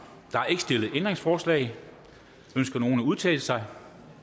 der er ikke stillet ændringsforslag ønsker nogen at udtale sig